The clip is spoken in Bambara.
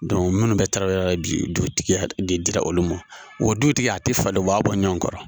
munnu bɛ taraweleya la bi dutigiya de dira olu ma wa o dutigi a ti falen, u b'a bɔ ɲɔgɔn kɔrɔ.